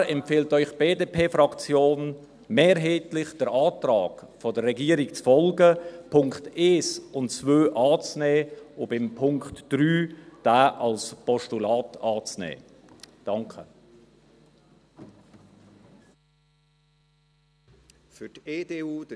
Daher empfiehlt Ihnen die BDP-Fraktion mehrheitlich, dem Antrag der Regierung zu folgen, die Punkte 1 und 2 anzunehmen und den Punkt 3 als Postulat anzunehmen.